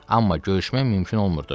Amma görüşmək mümkün olmurdu.